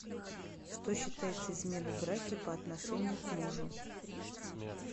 что считается изменой в браке по отношению к мужу